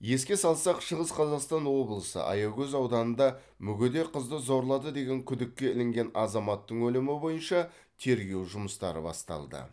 еске салсақ шығыс қазақстан облысы аягөз ауданында мүгедек қызды зорлады деген күдікке ілінген азаматтың өлімі бойынша тергеу жұмыстары басталды